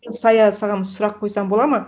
сая саған сұрақ қойсам болады ма